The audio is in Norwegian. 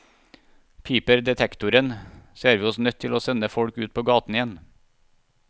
Piper detektoren, ser vi oss nødt til å sende folk ut på gaten igjen.